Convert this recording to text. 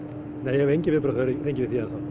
nei ég hef engin viðbrögð fengið við því enn þá